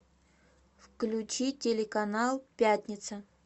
включи телеканал пятница